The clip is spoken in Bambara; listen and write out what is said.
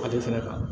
Ale fɛnɛ ka